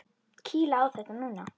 Kýla á þetta núna!